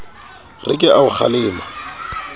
re ke a o kgalema